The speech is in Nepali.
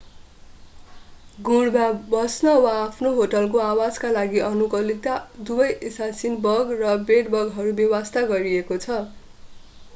गुँडमा बस्न वा आफ्नो होस्टको आवासका लागि अनुकूलित दुबै एसासिन बग र बेड-बगहरू बेवास्ता गरिएको छ